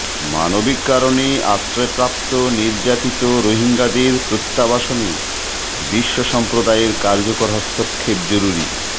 মানবিক কারণে আশ্রয়প্রাপ্ত নির্যাতিত রোহিঙ্গাদের প্রত্যাবাসনে বিশ্বসম্প্রদায়ের কার্যকর হস্তক্ষেপ জরুরি